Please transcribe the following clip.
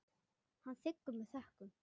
Hann þiggur það með þökkum.